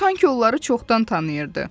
Sanki onları çoxdan tanıyırdı.